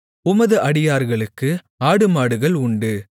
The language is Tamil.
உமது அடியார்களுக்கு ஆடுமாடுகள் உண்டு